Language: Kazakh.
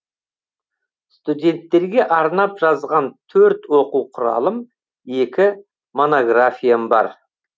студенттерге арнап жазған төрт оқу құралым екі монографиям бар